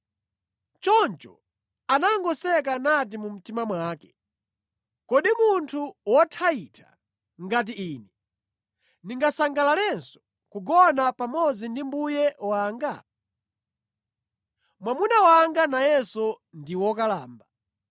Choncho anangoseka nati mu mtima mwake, “Kodi munthu wothayitha ngati ine ndingasangalalenso kugona pamodzi ndi mbuye wanga? Mwamuna wanga nayenso ndi wokalamba.”